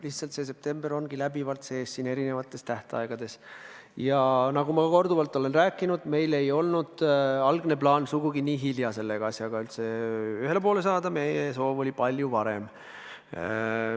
Lihtsalt september ongi läbivalt sees siin eri tähtaegades ja nagu ma korduvalt olen rääkinud, meie algne plaan polnud sugugi nii hilja selle asjaga ühele poole saada, meie soov oli teha seda palju varem.